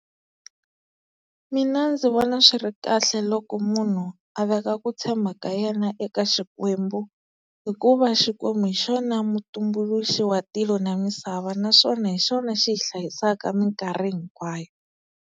Mina ndzi vona swi ri kahle loko munhu a veka ku tshemba ka yena eka xikwembu hikuva xikwembu hi xona mutumbuluxi wa tilo na misava naswona hi xona xi hi hlayisaka minkarhi hinkwayo.